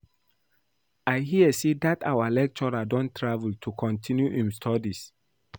I hear say dat our lecturer don travel to continue im studies